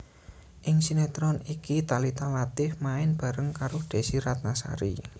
Ing sinétron iki Thalita Latief main bareng karo Desy Ratnasari